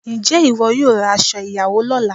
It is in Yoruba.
Ǹjẹ́ ìwọ yóò ra aṣo ìyàwó lọ́la?